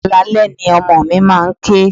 Alaalẹ́ ni ọmọ mi máa ń ké.